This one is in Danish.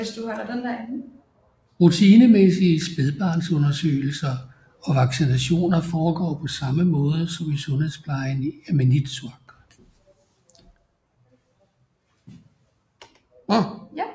Rutinemæssige spædbarnsundersøgelser og vaccinationer foregår på samme måde som i sundhedsplejen i Maniitsoq